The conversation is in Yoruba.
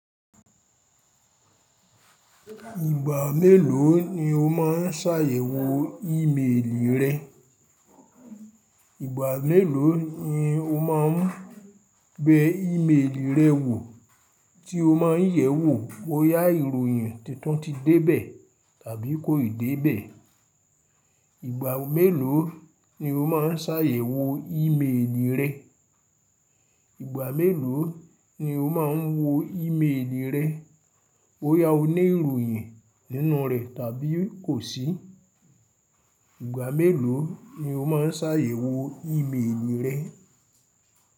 Ìgbà mélòó ni o má ń ṣàyẹ̀wò ímeèlì rẹ? Ìgbà mélòó ni o má ń bẹ ímeèlì rẹ wò tí o ma ń yẹ̀wò bóyá ìròyìn titun ti dé bẹ̀ tàbí kò ì dé bẹ̀? Ìgbà mélòó ni o má ń ṣàyẹ̀wò ímeèlì rẹ? Ìgbà mélòó ni o má ń wo ímeèlì rẹ bóyá o ní ìròyìn nínú rẹ̀ tàbí kò sí? Ìgbà mélòó ni o má ń ṣàyẹ̀wò ímeèlì rẹ?